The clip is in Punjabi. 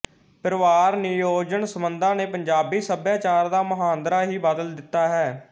ਪਰਿਵਾਰ ਨਿਯੋਜਨ ਸੰਬੰਧਾਂ ਨੇ ਪੰਜਾਬੀ ਸੱਭਿਆਚਾਰ ਦਾ ਮੁਹਾਂਦਰਾ ਹੀ ਬਦਲ ਦਿੱਤਾ ਹੈ